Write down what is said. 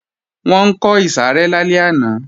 Wọ́n ń kọ ìsàrẹ́ lálẹ́ àná